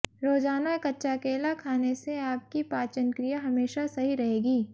रोजाना कच्चा केला खाने से आपकी पाचन क्रिया हमेशा सही रहेगी